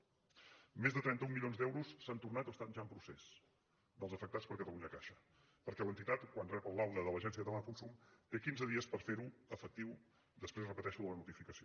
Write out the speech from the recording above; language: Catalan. més de trenta un milions d’euros s’han tornat o estan ja en procés dels afectats per catalunyacaixa perquè l’entitat quan rep el laude de l’agència catalana del consum té quinze dies per fer ho efectiu després ho repeteixo de la notificació